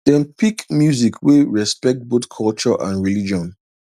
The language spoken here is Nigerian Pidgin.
dem pick music wey respect both culture and religion